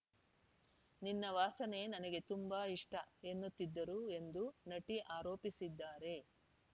ನಿನ್ನ ವಾಸನೆ ನನಗೆ ತುಂಬಾ ಇಷ್ಟ ಎನ್ನುತ್ತಿದ್ದರು ಎಂದು ನಟಿ ಆರೋಪಿಸಿದ್ದಾರೆ